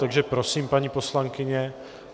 Takže prosím, paní poslankyně.